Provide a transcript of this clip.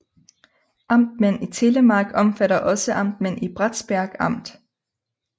Amtmænd i Telemark omfatter også amtmænd i Bratsberg Amt